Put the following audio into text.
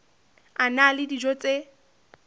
a na le dijo tse